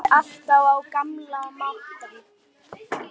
Kaffið alltaf á gamla mátann.